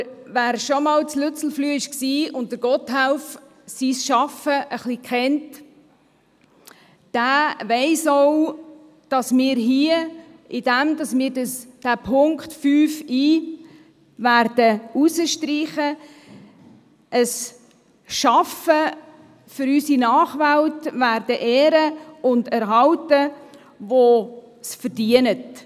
Aber wer schon einmal in Lützelflüh war und das Schaffen Gotthelfs ein wenig kennt, weiss auch, dass wir, indem wir den Buchstaben i von Punkt 5 streichen, ein Schaffen für unsere Nachwelt ehren und erhalten werden, das es verdient.